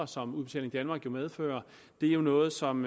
som udbetaling danmark jo medfører er noget som